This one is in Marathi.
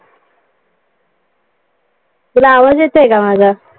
तुला आवाज येतोय का माझा?